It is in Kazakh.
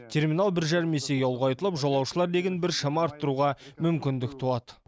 терминал бір жарым есеге ұлғайтылып жолаушылар легін біршама арттыруға мүмкіндік туады